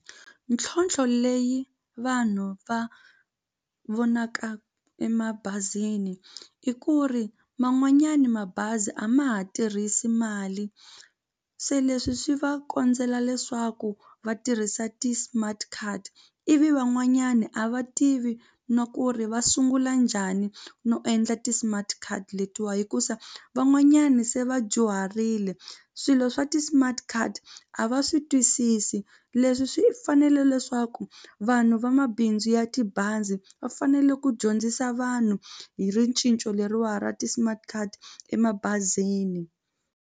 Ntlhontlho leyi vanhu va vonaka emabazini i ku ri man'wanyana mabazi a ma ha tirhisi mali se leswi swi va kondzela leswaku va tirhisa ti-smart card ivi van'wanyana a va tivi no ku ri va sungula njhani no endla ti-smart card letiwa hikusa van'wanyana se va dyuharile swilo swa ti-smart card a va swi twisisi leswi swi fanele leswaku vanhu vamabindzu ya tibazi va fanele ku dyondzisa vanhu hi ricinco leriwani ra ti-smart card emabazini.